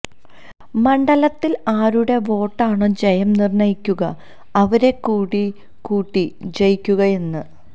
മണ്ഡലത്തിൽ ആരുടെ വോട്ടാണോ ജയം നിർണ്ണയിക്കുക അവരെ കൂടി കൂട്ടി ജയിക്കുകയെന്ന